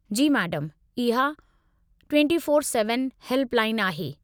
जी madam, इहा 24x7 helpline आहे।